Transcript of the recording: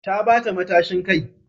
Ta bata matashin kai